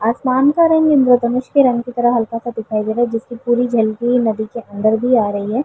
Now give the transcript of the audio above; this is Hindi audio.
आसमान का रंग इंद्रधनुष के रंग की तरह हल्का सा दिखाई दे रहा है जिससे पुरी झलकी नदी के अंदर भी आ रही है।